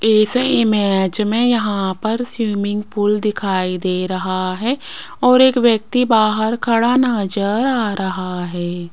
इस इमेज में यहां पर स्विमिंग पूल दिखाई दे रहा है और एक व्यक्ति बाहर खड़ा नजर आ रहा है।